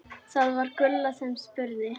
Það var Gulla sem spurði.